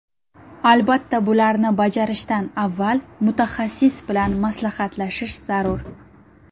Albatta, bularni bajarishdan avval mutaxassis bilan maslahatlashish zarur.